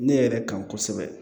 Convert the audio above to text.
Ne yɛrɛ kan kosɛbɛ